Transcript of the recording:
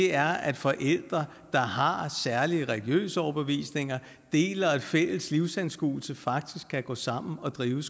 er at forældre der har særlige religiøse overbevisninger og deler en fælles livsanskuelse faktisk kan gå sammen og drive